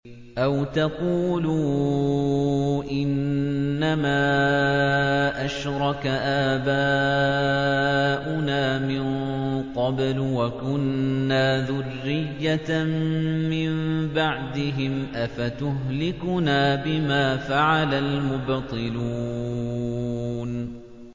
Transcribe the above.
أَوْ تَقُولُوا إِنَّمَا أَشْرَكَ آبَاؤُنَا مِن قَبْلُ وَكُنَّا ذُرِّيَّةً مِّن بَعْدِهِمْ ۖ أَفَتُهْلِكُنَا بِمَا فَعَلَ الْمُبْطِلُونَ